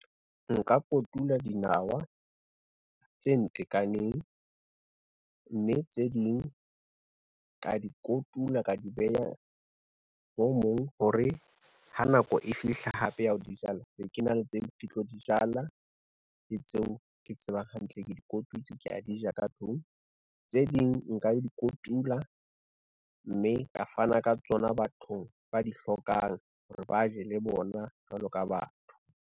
Nka kotula dinawa, tse ntekaneng, mme tse ding ka di kotula ka di beha hore ha nako e fihla hape ya ho di jala be ke na le tse ke tlo di jala, le tseo ke tsebang hantle, ke di kotutsi ke a di ja ka tlung. Tse ding nka di kotula mme ka fana ka tsona bathong ba di hlokang hore ba je le bona jwalo ka batho.